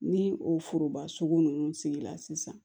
Ni o foroba sugu ninnu sigila sisan